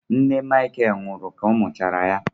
Nne Michael nwụrụ ka ọ mụchara ya.